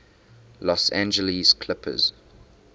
los angeles clippers